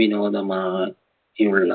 വിനോദമായുള്ള